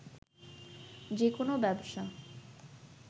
যে কোনো ব্যবসা